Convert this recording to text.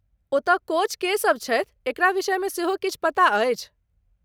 ओतय कोच के सभ छथि ,एकरा विषयमे सेहो किछु पता अछि?